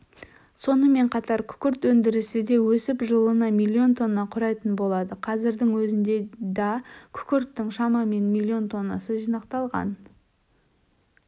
сонымен қатар күкірт өндірісі де өсіп жылына миллион тонна құрайтын болады қазірдің өзінде да күкірттің шамамен миллион тоннасы жинақталған